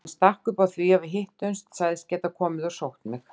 Hann stakk upp á að við hittumst, sagðist geta komið og sótt mig.